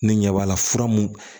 Ne ɲɛ b'a la fura mun